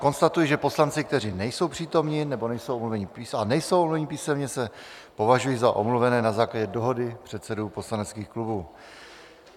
Konstatuji, že poslanci, kteří nejsou přítomni a nejsou omluveni písemně, se považují za omluvené na základě dohody předsedů poslaneckých klubů.